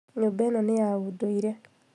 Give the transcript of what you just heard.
Nyũmba ĩno nĩ ya ũndũire